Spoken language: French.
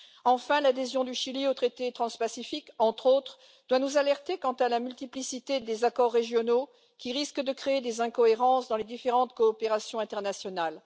Enfin, l'adhésion du Chili au traité transpacifique, entre autres, doit nous alerter quant à la multiplicité des accords régionaux, qui risque de créer des incohérences dans les différentes coopérations internationales.